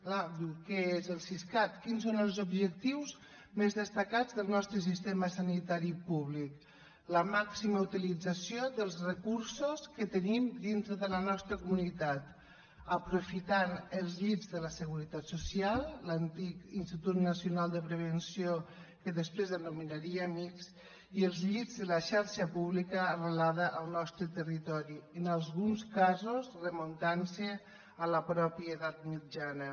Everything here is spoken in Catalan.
clar diu què és el siscat quins són els objectius més destacats del nostre sistema sanitari públic la màxima utilització dels recursos que tenim dintre de la nostra comunitat aprofitant els llits de la seguretat social l’antic institut nacional de prevenció que després anomenaríem ics i els llits de la xarxa pública arrelada al nostre territori que en alguns casos es remunten a la mateixa edat mitjana